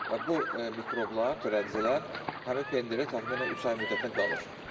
Və bu mikroblar, törədicilər həmin pendirdə təxminən üç ay müddətinə qalır.